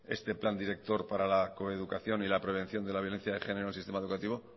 este plan director para la coeducación y la prevención de la violencia de género en el sistema educativo